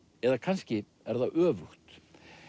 eða kannski er það öfugt